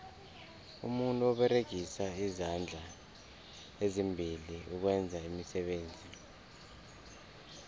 umuntu uberegisa izandla ezimbili ukwenza iimisebenzi